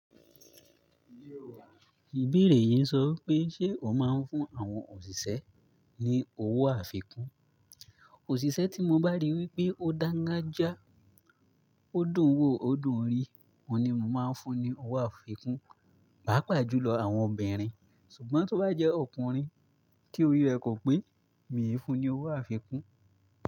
Ìbeerè yìí ń sọ wipé, ṣe o máa ń fún àwọn òṣìṣẹ́ ní owó àfikún? Òṣìṣẹ́ tí mo bá rí wípé ó dangájia, ó dùn wò, ó dùn rí, òun ni mo màá fún ní owó àfikún. Paapà jùlọ àwọn obìnrin. Ṣùgbọ́n tó bá jẹ́ ọkùnrin tí orí rẹ̀ kò pé, mi i fún un ní owó àfikún.